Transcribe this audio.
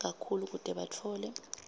kakhulu kute batfole